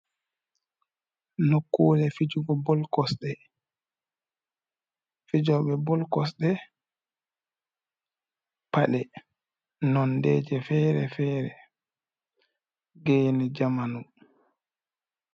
Nokkude fijuge bol kosde ,pade nonde je fere-fere geni zamanu.